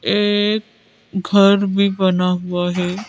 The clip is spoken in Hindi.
एक घर भी बना हुआ है।